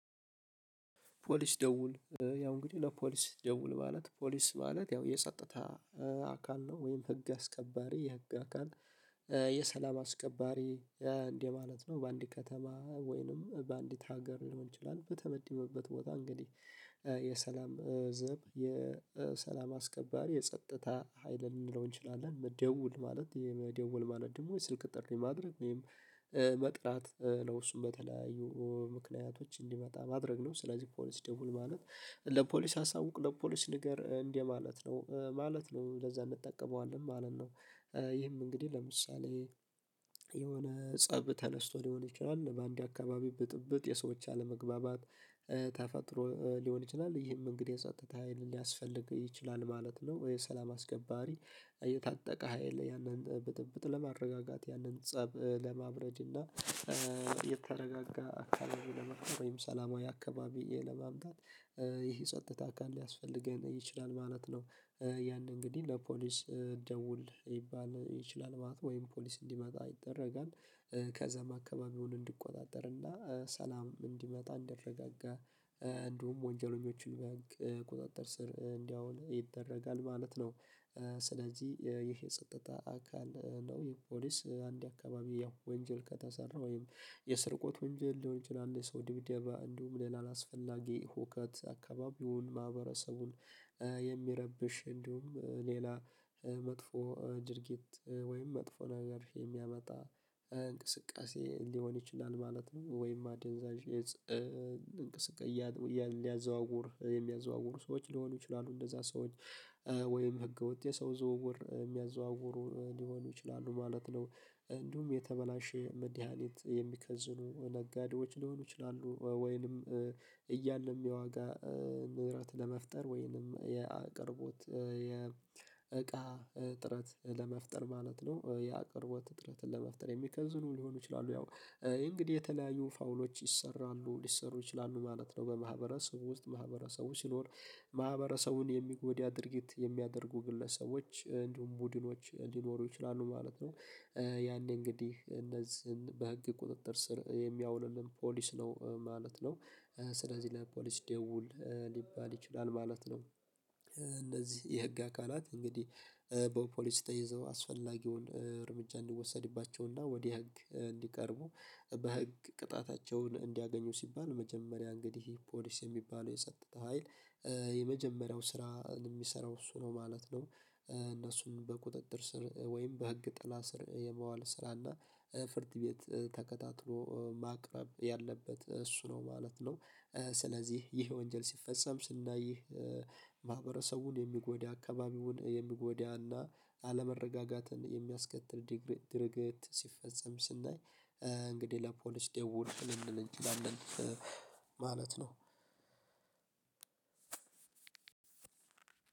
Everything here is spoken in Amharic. ፖሊስ ደውል፣ ያው እንግዲህ ለፖሊስ ደውል ማለት ፖሊስ ማለት ያው የጸጥታ አካል ነው ወይም ህግ አስከባሪ የህግ አካል የሰላም አስከባሪ እንደማለት ነው። በአንድ ከተማ ወይንም በአንዲት ሀገር ሊሆን ይችላል በተመደበበት ቦታ እንግዲህ የሰላም ዘብ የሰላም አስከባሪ የጸጥታ ሀይል ልንለው እንችላለን። ደውል ማለት ይሄ መደወል ማለት ደግሞ የስልክ ጥሪ ማድረግ ወይም መጥራት ነው እሱን በተለያዩ ምክንያቶች እንዲመጣ ማድረግ ነው። ስለዚህ ፖሊስ ደውል ማለት ለፖሊስ አሳውቅ ለፖሊስ ንገር እንደማለት ነው ማለት ነው ለዛ እንጠቀመዋለን ማለት ነው። ይህም እንግዲህ ለምሳሌ የሆነ ፀብ ተነስቶ ሊሆን ይችላል በአንድ አካባቢ ብጥብጥ የሰዎች አለመግባባት ተፈጥሮ ሊሆን ይችላል። ይህም እንግዲህ የጸጥታ ሀይሉ ሊያስፈልግ ይችላል ማለት ነው ወይ ሰላም አስከባሪ። የታጠቀ ሀይል ያንን ብጥብጥ ለማረጋጋት ያንን ፀብ ለማብረድ እና የተረጋጋ አካባቢ ለመፍጠር ወይም ሰላማዊ አካባቢ ለማምጣት ይህ የጸጥታ አካል ሊያስፈልገን ይችላል ማለት ነው። ያን እንግዲህ ለፖሊስ ደውል ይባል ይችላል ማለት ወይም ፖሊስ እንዲመጣ ይደረጋል። ከዛም አከባቢውን እንዲቆጣጠር እና ሰላም እንዲመጣ እንዲረጋጋ እንዲሁም ወንጀለኞቹን በህግ ቁጥጥር ስር እንዲያውል ይደረጋል ማለት ነው። ስለዚህ ይህ የጸጥታ አካል ነው ይህ ፖሊስ አንድ አካባቢ ያው ወንጀል ከተሰራ ወይም የስርቆት ወንጀል ሊሆን ይችላል የሰው ድብደባ እንዲሁም ሌላ አላስፈላጊ ሁከት አካባቢውን ማህበረሰቡን የሚረብሽ እንዲሁም ሌላ መጥፎ ድርጊት ወይም መጥፎ ነገር የሚያመጣ እንቅስቃሴ ሊሆን ይችላል ማለት ነው፤ ወይም አደንዛዥ እፅ እንቅስቃሴ እያ እያ ሊያዘዋውር የሚያዘዋውሩ ሰዎች ሊሆኑ ይችላሉ እነዛ ሰዎች ወይም ህገወጥ የሰው ዝውውር የሚያዘዋውሩ ሊሆኑ ይችላሉ ማለት ነው። እንዲሁም የተበላሸ መድሃኒት የሚከዝኑ ነጋዴዎች ሊሆኑ ይችላሉ። ወይንም እያለም የዋጋ ንብረት ለመፍጠር ወይንም የአቅርቦት የእቃ እጥረት ለመፍጠር ማለት ነው የአቅርቦት እጥረትን ለመፍጠር የሚከዝኑ ሊሆኑ ይችላሉ። ያው እንግዲህ የተለያዩ ፋውሎች ይሰራሉ ሊሰሩ ይችላሉ ማለት ነው በማህበረሰቡ ውስጥ ማህበረሰቡ ሲኖር ማህበረሰቡን የሚጎዳ ድርጊት የሚያደርጉ ግለሰቦች እንዲሁም ቡድኖች ሊኖሩ ይችላሉ ማለት ነው። ያኔ እንግዲህ እነዚህን በህግ ቁጥጥር ስር የሚያውልልን ፖሊስ ነው ማለት ነው። ስለዚህ ለፖሊስ ደውል ሊባል ይችላል ማለት ነው። እነዚህ የህግ አካላት እንግዲህ በፖሊስ ተይዘው አስፈላጊውን እርምጃ እንዲወሰድባቸውና ወደ ህግ እንዲቀርቡ በህግ ቅጣታቸውን እንዲያገኙ ሲባል መጀመሪያ እንግዲህ ፖሊስ የሚባለው የጸጥተ ሀይል የመጀመሪያው ስራን የሚሰራው እሱ ነው ማለት ነው። እነሱን በቁጥጥር ስር ወይም በህግ ጥላ ስር የማዋል ስራ እና ፍርት ቤት ተከታትሎ ማቅረብ ያለበት እሱ ነው ማለት ነው። ስለዚህ ይህ ወንጀል ሲፈጸም ስናይ ማህበረሰቡን የሚጎዳ አካባቢውን የሚጎዳና አለመረጋጋትን የሚያስከትል ዲግሪ ድርጊት ሲፈጸም ስናይ እንግዲህ ለፖሊስ ደውል ልንል እንችላለን ማለት ነው።